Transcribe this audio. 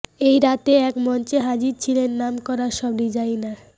এই রাতে এক মঞ্চে হাজির ছিলেন নামকরা সব ডিজাইনার